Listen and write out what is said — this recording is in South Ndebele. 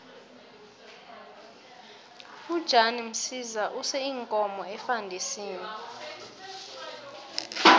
ujan msiza use iinkomo efandisini